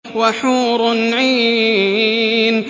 وَحُورٌ عِينٌ